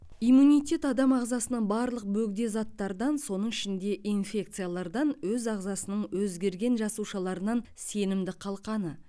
иммунитет адам ағзасының барлық бөгде заттардан соның ішінде инфекциялардан өз ағзасының өзгерген жасушаларынан сенімді қалқаны